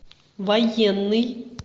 военный